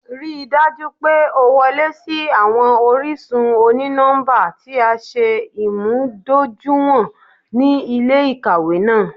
Rii daju pe o wọle si awọn orisun oni-nọmba ti a ṣe imudojuiwọn ni ile-ikawe naa